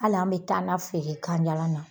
Hali an be tan na feere ganjalan na.